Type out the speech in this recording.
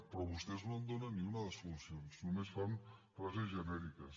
però vostès no en donen ni una de solucions només fan frases genèriques